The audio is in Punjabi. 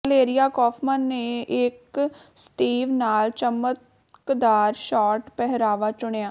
ਵਾਲੇਰੀਆ ਕੌਫਮਨ ਨੇ ਇਕ ਸਟੀਵ ਨਾਲ ਚਮਕਦਾਰ ਸ਼ਾਰਟ ਪਹਿਰਾਵਾ ਚੁਣਿਆ